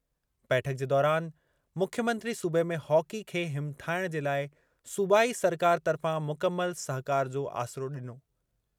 बैठक जे दौरान मुख्यमंत्री सूबे में हॉकी खे हिमथाइणु जे लाइ सूबाई सरकार तर्फ़ां मुकमल सहिकारु जो आसिरो ॾिनो।